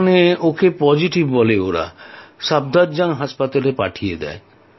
ওখানে ওকে পজিটিভ বলে আর সাফদারজাং পাঠিয়ে দেয়